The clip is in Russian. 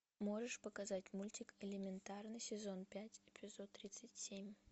можешь показать мультик элементарно сезон пять эпизод тридцать семь